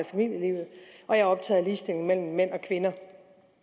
familielivet og jeg er optaget af ligestilling mellem mænd og kvinder